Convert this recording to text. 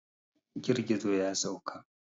Girgizo ya sauka.